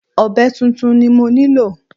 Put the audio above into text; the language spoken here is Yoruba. Ọ̀be tuntun ni mo nílò.